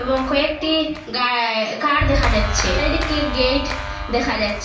এবং কয়েকটি গায় কার দেখা যাচ্ছে চারিদিকে গেট দেখা যাচ--